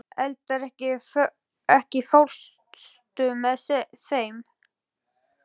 Eldar, ekki fórstu með þeim?